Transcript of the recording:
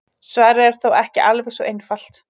Svarið er þó ekki alveg svo einfalt.